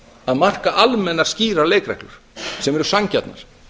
að marka almennar skýrar leikreglur sem eru sanngjarnar